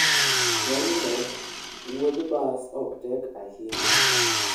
Ng'enyne, wuodh bas ok tek ahinya.